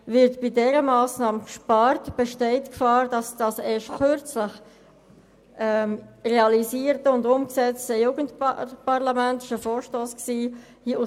Wird bei dieser Massnahme gespart, besteht die Gefahr, dass das erst kürzlich gegründete Jugendparlament wieder aufgelöst werden muss.